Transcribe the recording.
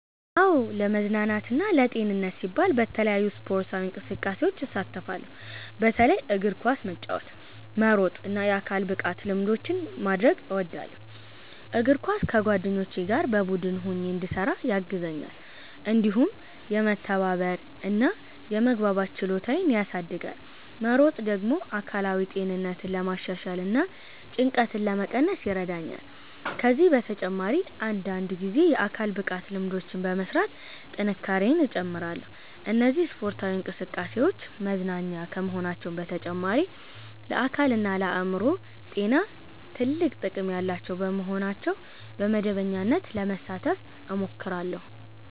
"አዎ፣ ለመዝናናትና ለጤንነቴ ሲባል በተለያዩ ስፖርታዊ እንቅስቃሴዎች እሳተፋለሁ። በተለይም እግር ኳስ መጫወት፣ መሮጥ እና የአካል ብቃት ልምምዶችን ማድረግ እወዳለሁ። እግር ኳስ ከጓደኞቼ ጋር በቡድን ሆኜ እንድሰራ ያግዘኛል፣ እንዲሁም የመተባበር እና የመግባባት ችሎታዬን ያሳድጋል። መሮጥ ደግሞ አካላዊ ጤንነቴን ለማሻሻል እና ጭንቀትን ለመቀነስ ይረዳኛል። ከዚህ በተጨማሪ አንዳንድ ጊዜ የአካል ብቃት ልምምዶችን በመሥራት ጥንካሬዬን እጨምራለሁ። እነዚህ ስፖርታዊ እንቅስቃሴዎች መዝናኛ ከመሆናቸው በተጨማሪ ለአካልና ለአእምሮ ጤና ትልቅ ጥቅም ያላቸው በመሆናቸው በመደበኛነት ለመሳተፍ እሞክራለሁ።"